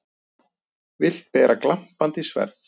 Vilt bera glampandi sverð.